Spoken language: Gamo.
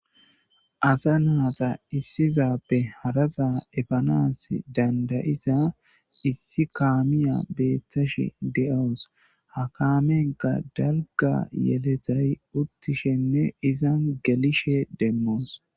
asa naata issizappe harasa efanas dandayisa issi kaamiya beeththash de7oos ha kaamenka dalga yeletay uttishenne izan gelishe demmoos